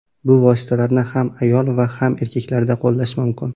Bu vositalarni ham ayol va ham erkaklarda qo‘llash mumkin.